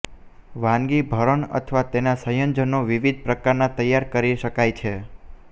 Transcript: વાનગી ભરણ અથવા તેના સંયોજનો વિવિધ પ્રકારના તૈયાર કરી શકાય છે